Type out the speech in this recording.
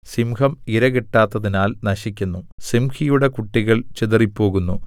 സിംഹം ഇര കിട്ടാത്തതിനാൽ നശിക്കുന്നു സിംഹിയുടെ കുട്ടികൾ ചിതറിപ്പോകുന്നു